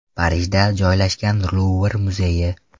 Parijda joylashgan Luvr muzeyi.